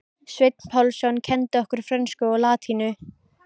Sveinn Pálsson kenndi okkur frönsku og latínu.